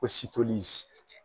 Ko .